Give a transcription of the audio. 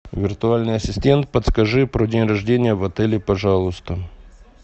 виртуальный ассистент подскажи про день рождения в отеле пожалуйста